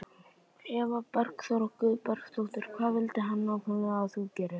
Eva Bergþóra Guðbergsdóttir: Hvað vildi hann nákvæmlega að þú gerðir?